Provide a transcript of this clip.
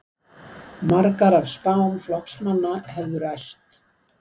Margar af spám flokksmanna hefðu ræst